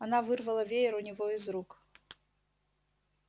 она вырвала веер у него из рук